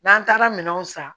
N'an taara minɛnw san